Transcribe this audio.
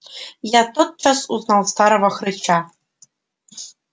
я тотчас узнал старого хрыча